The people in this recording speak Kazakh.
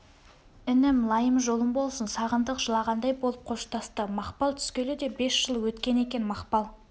інім лайым жолың болсын сағындық жылағандай болып қоштасты мақпал түскелі де бес жыл өткен екен мақпал